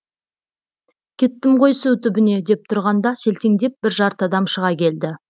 кеттім ғой су түбіне деп тұрғанда селтеңдеп бір жарты адам шыға келді